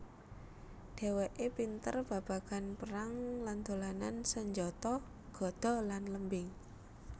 Dhèwèké pinter babagan perang lan dolanan sanjata gada lan lembing